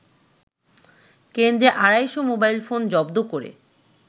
কেন্দ্রে আড়াইশ মোবাইলফোন জব্দ করে